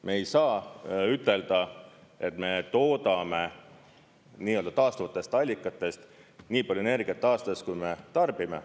Me ei saa ütelda, et me toodame taastuvatest allikatest nii palju energiat aastas, kui me tarbime.